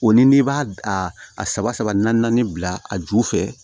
O ni n'i b'a a saba saba naani naani bila a ju fɛ